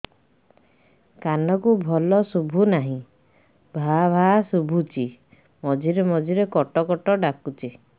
କାନକୁ ଭଲ ଶୁଭୁ ନାହିଁ ଭାଆ ଭାଆ ଶୁଭୁଚି ମଝିରେ ମଝିରେ କଟ କଟ ଡାକୁଚି